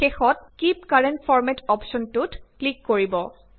শেষত keep current ফৰমাত অপ্শ্বনটোত ক্লিক কৰিব